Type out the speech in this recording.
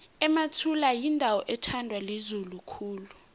emathula yindawo ethandwa lizulu khulu